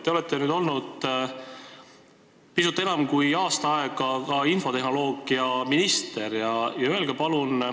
Te olete olnud pisut enam kui aasta aega ka infotehnoloogiaminister.